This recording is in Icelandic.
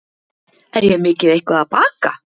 Er ég mikið eitthvað að baka?